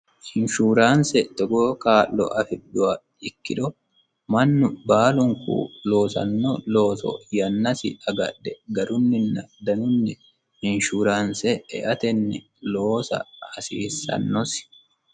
Inshuuraanse togoo kaa'lo afidhuha ikkiro mannu baalunku loosanno looso yannasi agadhe garunina danunni inshuuraanse eatenni loosa hasiissanosi.